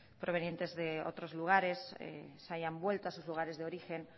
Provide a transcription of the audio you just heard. provenientes de otros lugares se hayan vuelta a sus lugares de origen